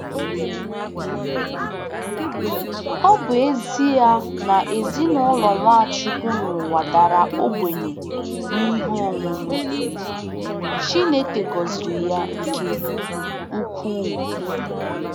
Ọ bụ ezie na ezinụlọ Nwachukwu n'ụwa dara ogbenye n'ihe onwunwe, Chineke gọziri ya nke ukwuu